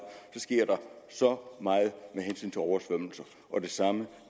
sker der så meget med hensyn til oversvømmelser og det samme